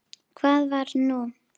Hvað var nú?